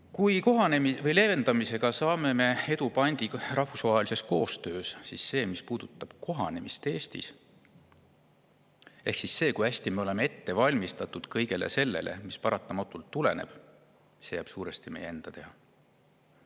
Kui me leevendamisel saame edu pandi rahvusvahelisest koostööst, siis see, mis puudutab kohanemist Eestis, ehk see, kui hästi me oleme ette valmistatud kõigeks selleks, mis paratamatult tuleb, jääb suuresti meie enda teha.